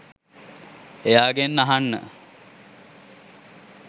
එයාගෙන් අහන්න